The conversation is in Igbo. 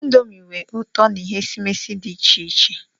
Ịndomii nwe ụtọ na ihe esimesi dị iche iche.